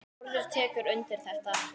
Þórður tekur undir þetta.